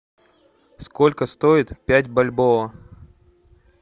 сколько стоит пять бальбоа